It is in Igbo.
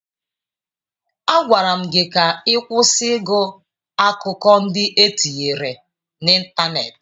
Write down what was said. Agwara m gị ka ị kwụsị ịgụ akụkọ ndị e tinyere n'ịntanetị!